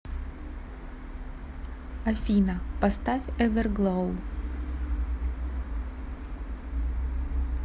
афина поставь эверглоу